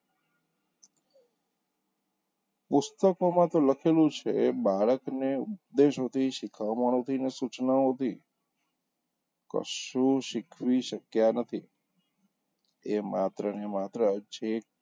પુસ્તકોમાં તો લખેલું છે બાળકને ઉદેશોથી, શિખામણોથી અને સૂચનાઓથી કશું શીખવી શક્યા નથી તે માત્ર ને માત્ર છે,